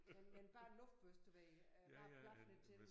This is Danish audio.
Men men bare en luftbøsse du ved øh bare plaffe lidt til dem